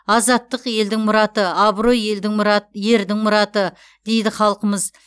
азаттық елдің мұраты абырой елдің мұраты ердің мұраты дейді халқымыз